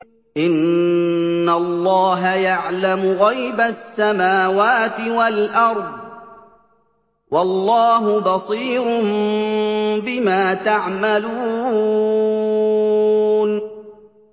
إِنَّ اللَّهَ يَعْلَمُ غَيْبَ السَّمَاوَاتِ وَالْأَرْضِ ۚ وَاللَّهُ بَصِيرٌ بِمَا تَعْمَلُونَ